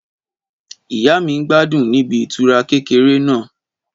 Ìyá mi n gbádùn níbi ìtura kékeré náà